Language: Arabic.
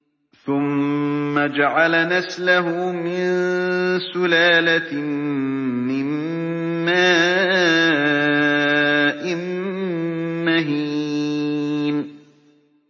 ثُمَّ جَعَلَ نَسْلَهُ مِن سُلَالَةٍ مِّن مَّاءٍ مَّهِينٍ